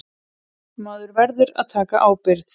Maður verður að taka ábyrgð.